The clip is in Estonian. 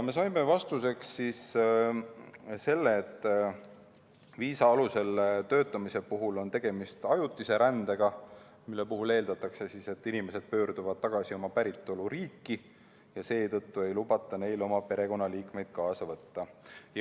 Me saime vastuseks, et viisa alusel töötamise korral on tegemist ajutise rändega, mille puhul eeldatakse, et inimesed pöörduvad tagasi oma päritoluriiki, ja seetõttu ei lubata neil oma perekonnaliikmeid kaasa võtta.